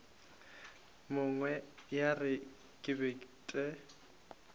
nngwe ya re ke bete